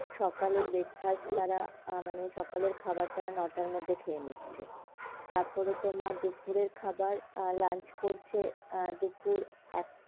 সকালে breakfast তারা আহ মানে সকালে খাবার যারা নয়টার মধ্যে খেয়ে নিচ্ছে তারপর তোমার দুপুরে খাবার আহ lunch করছে আহ দুপুর এক.